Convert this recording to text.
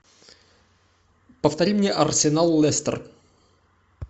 повтори мне арсенал лестер